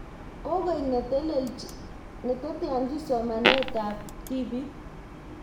Kokoek ne teteanjin somanet ab tibiik